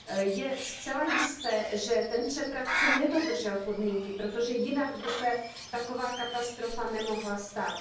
Je zcela jisté, že ten přepravce nedodržel podmínky, protože jinak by se taková katastrofa nemohla stát.